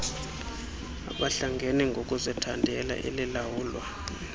abahlangene ngokuzithandela elilawulwa